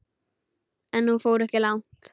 En hún fór ekki langt.